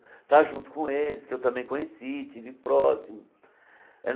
Está junto com eles, que eu também conheci, e estive próximo.